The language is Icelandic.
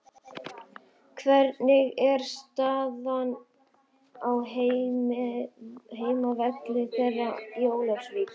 Hvernig er staðan á heimavelli þeirra í Ólafsvík?